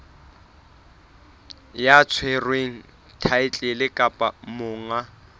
ya tshwereng thaetlele kapa monga